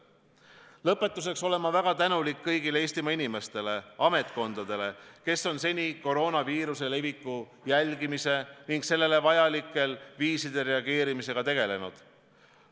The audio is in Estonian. Lõpetuseks tahan öelda, et ma olen väga tänulik kõigile Eestimaa inimestele ja ametkondadele, kes on seni koroonaviiruse leviku jälgimise ning sellele vajalikel viisidel reageerimisega tegelenud.